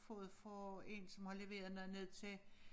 Fået fra en som har leveret noget ned til